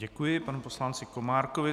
Děkuji panu poslanci Komárkovi.